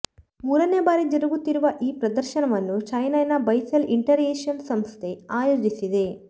ಮೂರನೆ ಬಾರಿ ಜರುಗುತ್ತಿರುವ ಈ ಪ್ರದರ್ಶನವನ್ನು ಚೆನ್ನೈನ ಬೈಸೆಲ್ ಇಂಟರ್ಯಾಕ್ಷನ್ಸ್ ಸಂಸ್ಥೆ ಆಯೋಜಿಸಿದೆ